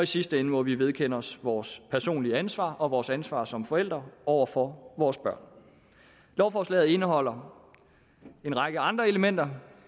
sidste ende må vi vedkende os vores personlige ansvar og vores ansvar som forældre over for vores børn lovforslaget indeholder en række andre elementer